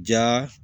Ja